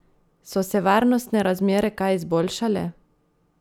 So se varnostne razmere kaj izboljšale?